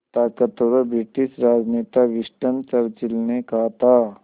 ताक़तवर ब्रिटिश राजनेता Winston Churchill ने कहा था